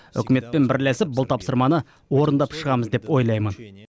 үкіметпен бірлесіп бұл тапсырманы орындап шығамыз деп ойлаймын